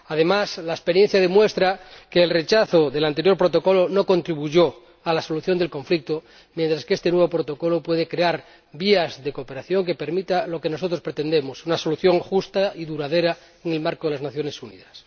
Además, la experiencia demuestra que el rechazo del anterior Protocolo no contribuyó a la solución del conflicto, mientras que este nuevo Protocolo puede crear vías de cooperación que permitan lo que nosotros pretendemos una solución justa y duradera, en el marco de las Naciones Unidas.